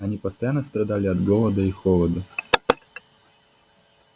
они постоянно страдали от голода и холода